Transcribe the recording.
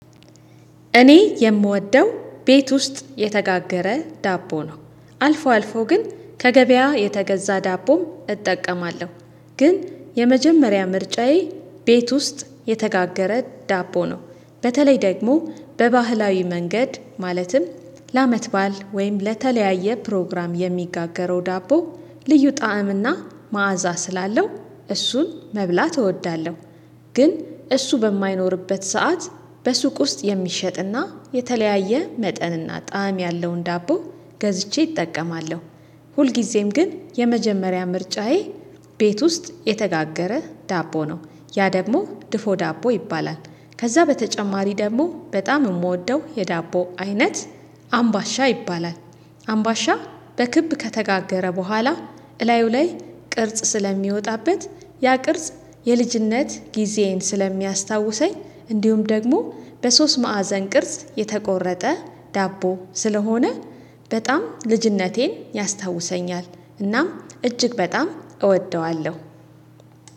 እኔ የምወደው ቤት ውስጥ የተጋገረ ዳቦ ነው። አልፎ አልፎ ግን ከገበያ የተገዛ ዳቦ እጠቀማለሁ። ግን የመጀመሪያ ምርጫዬ ቤት ውስጥ የተጋገረ ዳቦ ነው። በተለይ ደግሞ በባህላዊ መንገድ ማለትም ለአመት ባዓል ወይም ለተለያየ ፕሮግራም የሚጋገረው ዳቦ ልዩ ጣዕም እና መዓዛ ስላለው እሱን መብላት እወዳለሁ ግን እሱ በማይኖርበት ሰዓት በሱቅ ውስጥ የሚሸጥና የተለያየ መጠንና ጣዕም ያለውን ዳቦ ገዝቼ እጠቀማለሁ። ሁልጊዜም ግን የመጀመሪያ ምርጫዬ ቤት ውስጥ የተጋገረ ዳቦ ነው። ያ ደግሞ ድፎ ዳቦ ይባላል። ከዛ በተጨማሪ ደግሞ በጣም የምወደው የዳቦ አይነት አምባሻ ይባላል። አምባሻ በክብ ከተጋገረ በኋላ እላዩ ላይ ቅርጽ ስለሚወጣበት ያ ቅርጽ የልጅነት ጊዜዬን ስለሚያስታውሰኝ እንዲሁም ደግሞ በሶስት ማዕዘን ቅርጽ የተቆረጠ ዳቦ ስለሆነ በጣም ልጅነቴን ያስታውሰኛል። እናም እጅግ በጣም እወደዋለሁ።